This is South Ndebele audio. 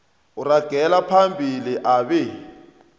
uragela phambili abe